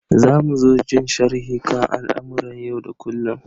Za mu so jin sharhi kan al'amuran yau da kullum.